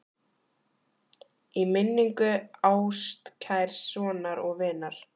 Í minningu ástkærs sonar og vinar